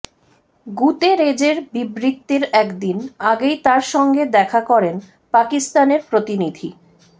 গুতেরেজের বিবৃতির একদিন আগেই তাঁর সঙ্গে দেখা করেন পাকিস্তানের প্রতিনিধি